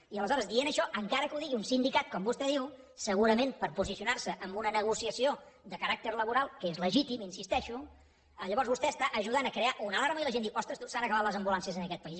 i aleshores dient això encara que ho digui un sindicat com vostè diu segurament per posicionar se en una negociació de caràcter laboral que és legítim hi insisteixo llavors vostè està ajudant a crear una alarma i la gent diu ostres tu s’han acabat les ambulàncies en aquest país